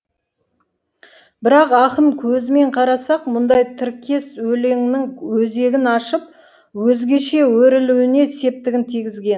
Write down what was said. бірақ ақын көзімен қарасақ мұндай тіркес өлеңнің өзегін ашып өзгеше өрілуіне септігін тигізген